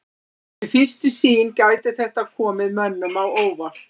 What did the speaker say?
Við fyrstu sýn gæti þetta komið mönnum á óvart.